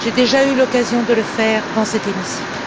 J'ai déjà eu l'occasion de le faire dans cet hémicycle.